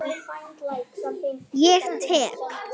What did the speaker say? Ég tek